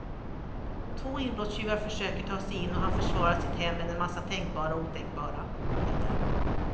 Två inbrottstjuvar försöker ta sig in och han försvarar sitt hem med en massa tänkbara och otänkbara medel.